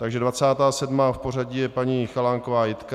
Takže 27. v pořadí je paní Chalánková Jitka.